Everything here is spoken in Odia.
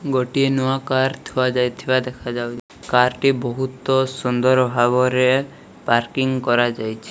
ଗୋଟିଏ ନୂଆ କାର ଥୁଆ ଯାଇଥିବାର ଦେଖାଯାଉ କାର ଟି ବହୁତ ସୁନ୍ଦର ଭାବରେ ପାର୍କିଂ କରାଯାଇଛି।